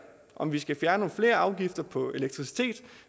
om vi skal fjerne nogle flere afgifter på elektricitet